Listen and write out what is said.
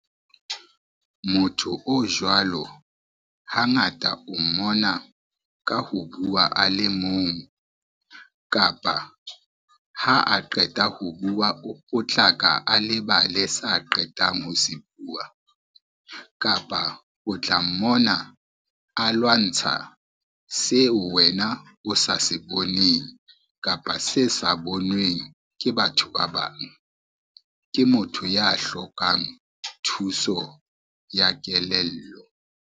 Motho o jwalo, hangata o mona ka ho bua a le mong, kapa ha a qeta ho bua o potlaka a lebale sa qetang ho se bua, kapa o tla mmona a lwantsha seo wena o sa se boneng kapa se sa boneng ke batho ba bang, ke motho ya hlokang thuso ya kelello.